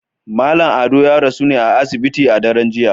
Mallam Ado ya rasu ne a asibiti a daren jiya